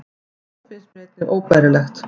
Þetta finnst mér einnig óbærilegt